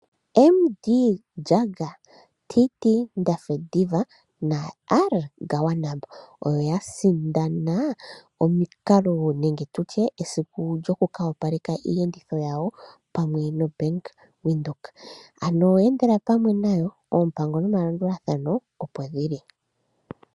M De Jager, T T Ndafediva naR Gawanab oyo ya sindana esiku lyoku ka opaleka iiyenditho yawo pamwe noBank Windhoek. Endela pamwe nayo. Oompango nomalandulathano, opo dhi li.